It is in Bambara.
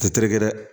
Tɛ terikɛ dɛ